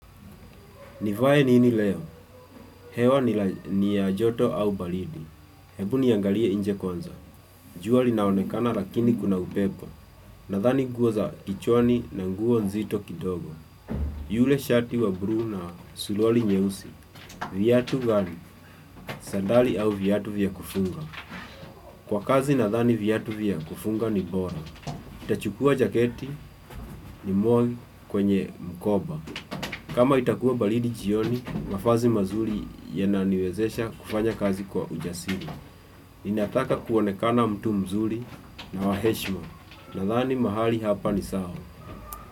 Nivae nini leo? Hewa ni ya joto au baridi. Hebu niangalie nje kwanza. Jua linaonekana lakini kuna upepo. Nadhani nguo za kichwani na nguo nzito kidogo. Yule shati wa blu na suruari nyeusi. Vyatu gali, sandali au vyatu vya kufunga. Kwa kazi nadhani vyatu vya kufunga ni bora. Nitachukua jaketi ni mwoi kwenye mkoba. Kama itakuwa baridi jioni, mavazi mazuri yananiwezesha kufanya kazi kwa ujasiri. Ninataka kuonekana mtu mzuri na wa heshima. Nadhani mahali hapa ni sawa.